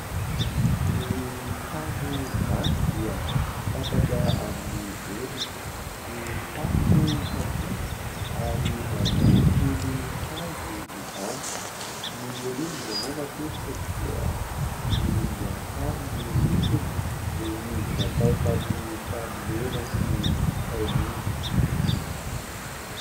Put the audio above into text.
Ny trano gasy dia fantatra amin'ny endriny. Ny tafo kapila ary varavarankely hazo izany. Ny rindrina moa matetika dia volomboasary ny lokony noho izy natao tamin'ny tany mena sy tain'omby.